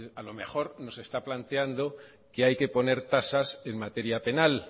claro a lo mejor no se está planteando que hay que poner tasas en materia penal